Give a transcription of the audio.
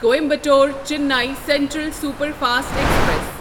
Coimbatore Chennai central superfast express